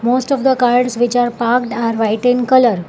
Most of the car which are parked are white in colour.